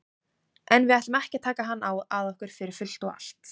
En við ætlum ekki að taka hann að okkur fyrir fullt og allt.